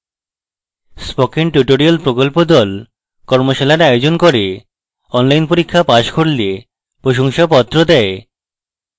spoken tutorial প্রকল্প the কর্মশালার আয়োজন করে অনলাইন পরীক্ষা পাস করলে প্রশংসাপত্র দেয়